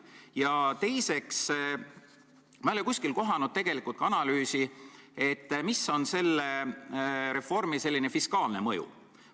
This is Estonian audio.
Ma ei ole ka kuskil näinud analüüsi, milline on selle reformi fiskaalne mõju.